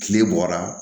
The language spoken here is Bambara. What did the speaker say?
Kile bɔra